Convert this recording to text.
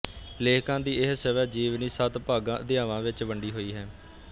ਲੇਖਿਕਾ ਦੀ ਇਹ ਸਵੈ ਜੀਵਨੀ ਸੱਤ ਭਾਗਾਂ ਅਧਿਆਵਾਂ ਵਿੱਚ ਵੰਡੀ ਹੋਈ ਹੈ